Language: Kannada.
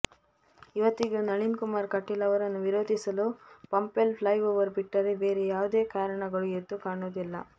ಇವತ್ತಿಗೂ ನಳಿನ್ ಕುಮಾರ್ ಕಟೀಲ್ ಅವರನ್ನು ವಿರೋಧಿಸಲು ಪಂಪವೆಲ್ ಪ್ಲೈಓವರ್ ಬಿಟ್ಟರೆ ಬೇರೆ ಯಾವುದೇ ಕಾರಣಗಳು ಎದ್ದು ಕಾಣುವುದಿಲ್ಲ